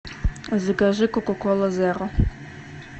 закажи кока кола зеро